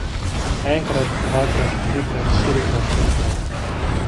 Enkrat, dvakrat, trikrat, štirikrat, petkrat.